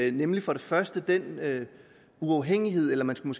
ind nemlig for det første den uafhængighed eller man skulle